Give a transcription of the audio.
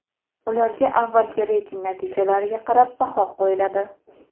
Ularga avvalgi reyting natijalariga qarab baho qo‘yiladi.